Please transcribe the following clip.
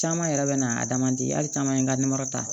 Caman yɛrɛ bɛ na adamaden hali caman ye n ka ta